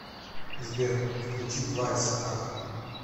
сбер включи твайс ах